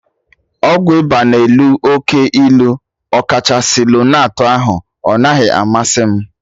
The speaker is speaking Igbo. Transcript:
Ọgwụ ịba na elu oke ilu, ọkachasị lonart ahụ, ọ naghị amasị m